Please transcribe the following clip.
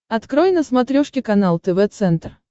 открой на смотрешке канал тв центр